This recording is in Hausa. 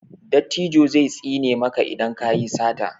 dattijo zai tsine maka idan ka yi sata